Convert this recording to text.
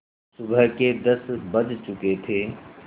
सुबह के दस बज चुके थे